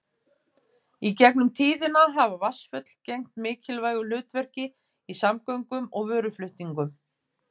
Í gegnum tíðina hafa vatnsföll gegnt mikilvægu hlutverki í samgöngum og vöruflutningum.